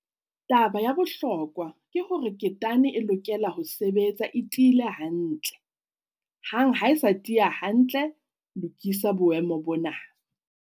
Taba ya bohlokwa ke hore ketane e lokela ho sebetsa e tiile hantle. Hang ha e sa tiya hantle, lokisa boemo bona.